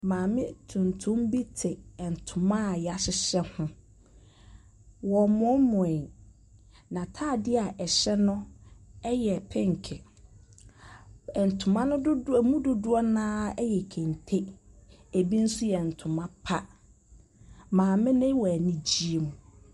Maame tuntum bi te ntoma a yɛahyehyɛ ho ɔremoosmoe, n’ataadeɛ ɛhyɛ no yɛ penke. Ntoma no dodoɔ ɛmu dodoɔ no ara yɛ kente, bi nso yɛ ntoma pa. maame no wɔ anigyeɛ mu.